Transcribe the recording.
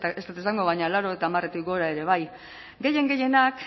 ez dut esango baina laurogeita hamaretik gora ere bai gehien gehienak